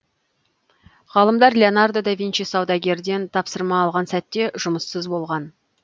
ғалымдар леонардо да винчи саудагерден тапсырма алған сәтте жұмыссыз болған